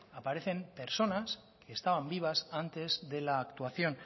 aparecen personas que estaban vivas antes de la actuación